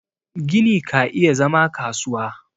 gini ka iya zama kasuwa